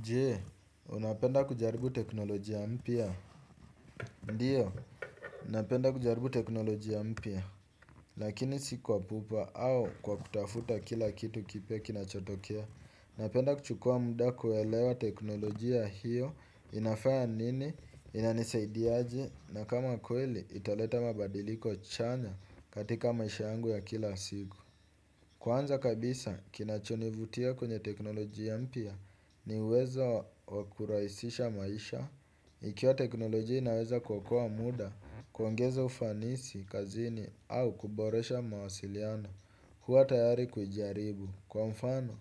Jee, unapenda kujaribu teknolojia mpya? Ndiyo, napenda kujaribu teknolojia mpya. Lakini si kwa pupa au kwa kutafuta kila kitu kipya kinachotokea. Napenda kuchukua mda kuelewa teknolojia hiyo inafaya nini, inanisaidiaje, na kama kweli italeta mabadiliko chanya katika maisha yangu ya kila sigo. Kwanza kabisa, kinachonivutia kwenye teknolojia mpya, ni uwezo wa kurahisisha maisha. Ikiwa teknolojia inaweza kuokoa muda kuongeza ufanisi kazini au kuboresha mawasiliano. Huwa tayari kuijaribu kwa mfano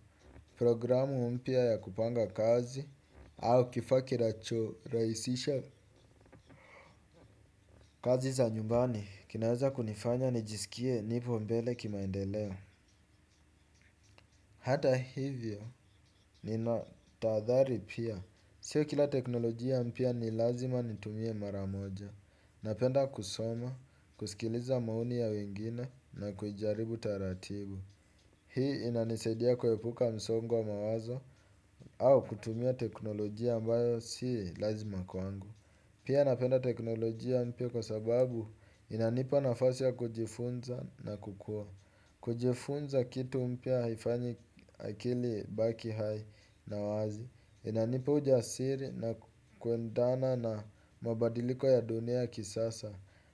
programu mpya ya kupanga kazi au kifa kinachorahisisha kazi za nyumbani kinaweza kunifanya nijisikie nipo mbele kimaendeleo. Hata hivyo ninatahadhari pia. Sio kila teknolojia mpya ni lazima nitumie mara moja. Napenda kusoma, kusikiliza maoni ya wengine na kujaribu taratibu. Hii inanisaidia kwepuka msongo wa mawazo au kutumia teknolojia ambayo si lazima kwangu. Pia napenda teknolojia mpya kwa sababu inanipa nafasi ya kujifunza na kukua. Kujifunza kitu mpya haifanyi akili ibaki hai na wazi. Inanipa ujasiri na kuendana na mabadiliko ya dunia kisasa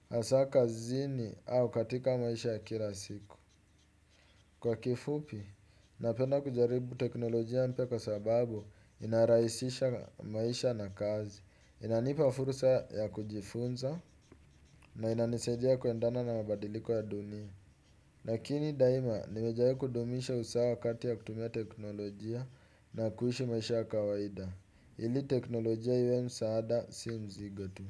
asa kazini au katika maisha ya kila siku. Kwa kifupi, napenda kujaribu teknolojia mpya kwa sababu inaraisisha maisha na kazi. Inanipa fursa ya kujifunza na inanisaidia kuendana na mabadiliko ya dunia. Lakini daima nimejaribu kudumisha usawa kati ya kutumia teknolojia na kuishi maisha ya kawaida. Ili teknolojia iwe msaada si mzigo tu.